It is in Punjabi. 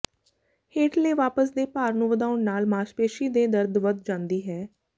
ਹੇਠਲੇ ਵਾਪਸ ਦੇ ਭਾਰ ਨੂੰ ਵਧਾਉਣ ਨਾਲ ਮਾਸਪੇਸ਼ੀ ਦੇ ਦਰਦ ਵਧ ਜਾਂਦੀ ਹੈ